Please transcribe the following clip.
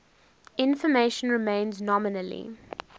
information remains nominally